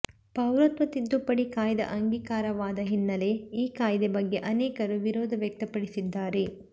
ಪೌರತ್ವ ತಿದ್ದುಪಡಿ ಕಾಯ್ದೆ ಅಂಗೀಕಾರವಾದ ಹಿನ್ನಲೆ ಈ ಕಾಯ್ದೆ ಬಗ್ಗೆ ಅನೇಕರು ವಿರೋಧ ವ್ಯಕ್ತಪಡಿಸಿದ್ದಾರೆ